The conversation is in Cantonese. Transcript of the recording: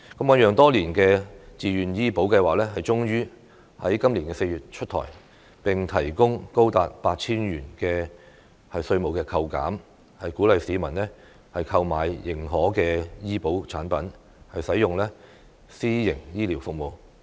醞釀多年的自願醫保計劃終於在今年4月出台，並提供高達 8,000 元的年度稅務扣減，鼓勵市民購買認可的醫保產品，使用私營醫療服務。